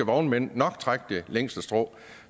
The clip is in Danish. vognmænd nok trække det længste strå